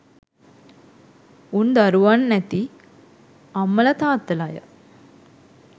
උන් දරුවන් ඇති අම්මල තාත්තල ය